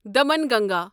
Damanganga